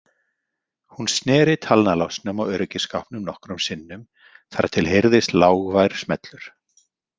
Hún sneri talnalásnum á öryggisskápnum nokkrum sinnum þar til heyrðist lágvær smellur.